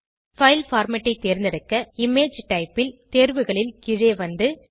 file format ஐ தேர்ந்தெடுக்க image type ல் தேர்வுகளில் கீழே வந்து